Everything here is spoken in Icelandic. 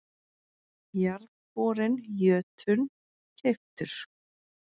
Jarðborinn Jötunn keyptur.